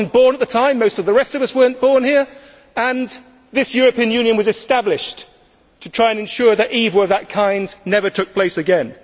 I was not born at the time, most of the rest of us here were not born then, and this European Union was established to try and ensure that evil of that kind never took place again.